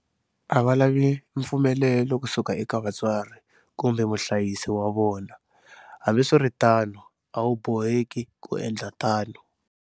A va lavi mpfumelelo kusuka eka vatswari kumbe muhlayisi wa vona. Hambiswiritano, a wu boheki ku endla tano.